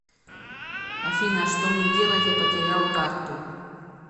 афина что мне делать я потерял карту